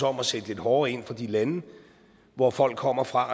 om at sætte lidt hårdere ind over for de lande hvor folk kommer fra